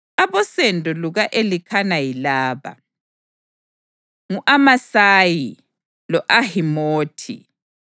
Abosendo luka-Elikhana yilaba: ngu-Amasayi, lo-Ahimothi,